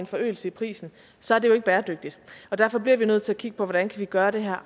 forøgelse i prisen så er det ikke bæredygtigt derfor bliver vi nødt til at kigge på hvordan vi kan gøre det